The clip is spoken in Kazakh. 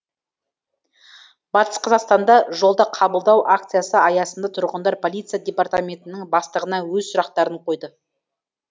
батыс қазақстанда жолда қабылдау акциясы аясында тұрғындар полиция департаментінің бастығына өз сұрақтарын қойды